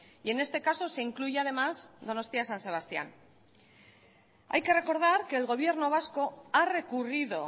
y en este caso se incluye además donostia san sebastián hay que recordar que el gobierno vasco ha recurrido